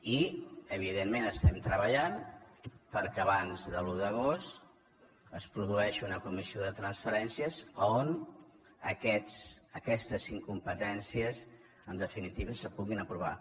i evidentment estem treballant perquè abans de l’un d’agost es produeixi una comissió de transferències on aquestes incompetències en definitiva es puguin aprovar